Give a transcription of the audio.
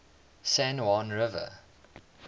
san juan river